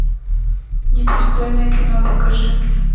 непристойное кино покажи мне